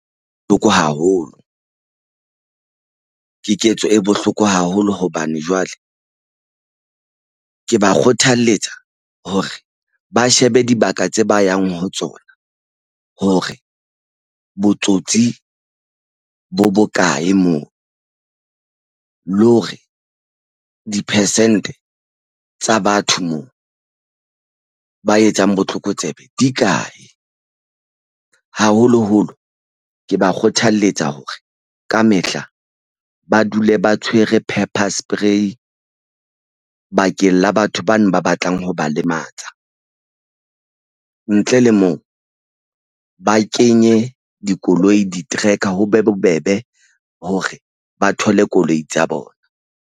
Haholo ke ketso e bohloko haholo hobane jwale ke ba kgothaletsa hore ba shebe dibaka tse ba yang ho tsona. Hore botsotsi bo bokae moo le hore di-percent-e tsa batho moo ba etsang botlokotsebe di kae. Haholoholo ke ba kgothalletsa hore kamehla ba dule ba tshwere pepper spray, bakeng la batho bano ba batlang ho ba lematsa. Ntle le moo ba kenye dikoloi di-tracker, ho be bobebe hore ba thole koloi tsa bona.